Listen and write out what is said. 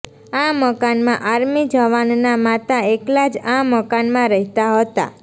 આ મકાનમાં આર્મી જવાનના માતા એકલા જ આ મકાનમાં રહેતા હતા